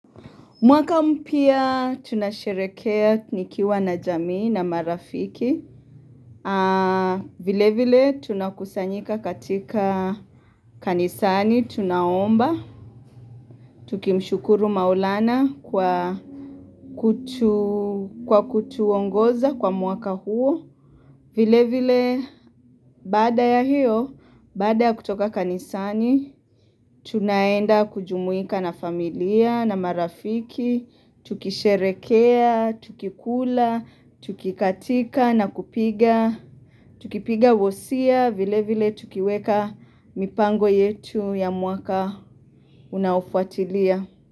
Mwaka mpya tunasherehekea nikiwa na jamii na marafiki. Vile vile tunakusanyika katika kanisani, tunaomba, tukimshukuru maulana kwa kutuongoza kwa mwaka huo. Vile vile baada ya hiyo, baada ya kutoka kanisani, tunaenda kujumuika na familia, na marafiki, tukisherehekea, tukikula, tukikatika na kupiga, tukipiga wosia vile vile tukiweka mipango yetu ya mwaka unaofuatilia.